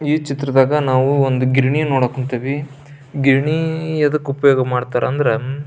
ಈ ಚಿತ್ರದಾಗ ನಾವು ಒಂದು ಗಿರಣಿ ನೋಡಕ್ ಕೂಂತೇವಿ ಗಿರಣಿ ಯಾದಕ್ಕ ಉಪಯೋಗ ಮಾಡ್ತಾರಾ ಅಂದ್ರ--